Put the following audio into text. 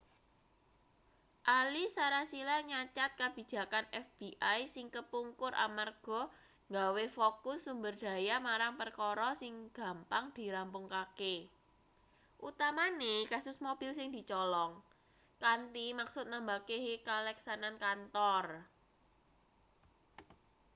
ahli sarasilah nyacad kabijakan fbi sing kepungkur amarga nggawe fokus sumber daya marang perkara sing gampang dirampungake utamane kasus mobil sing dicolong kanthi maksud nambah kehe kaleksanan kantor